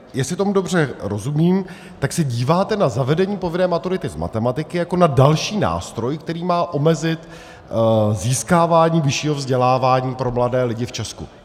Jestli tomu dobře rozumím, tak se díváte na zavedení povinné maturity z matematiky jako na další nástroj, který má omezit získávání vyššího vzdělávání pro mladé lidi v Česku.